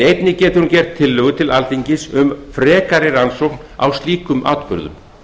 einnig getur hún gert tillögu til alþingis um frekari rannsókn á slíkum atburðum